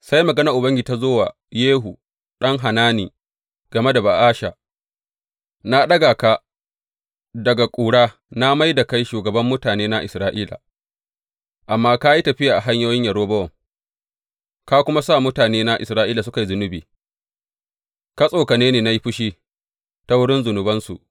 Sai maganar Ubangiji ta zo wa Yehu ɗan Hanani game da Ba’asha, Na ɗaga ka daga ƙura na mai da kai shugaban mutanena Isra’ila, amma ka yi tafiya a hanyoyin Yerobowam, ka kuma sa mutanena Isra’ila suka yi zunubi, ka tsokane ni na yi fushi ta wurin zunubansu.